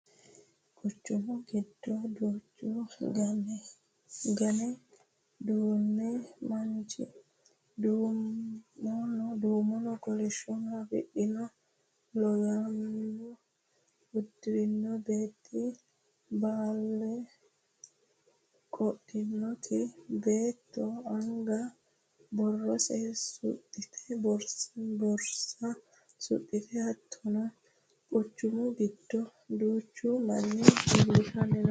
Quchumu giddo duucha Gaane duhino manchi: Duumonna kolishsho afidhino Laynoole uddi'rino beetti; Bolaale qodhitino beetto anga borsa suxxite: Hattono Quchumu giddo duuchu manni millisanni no: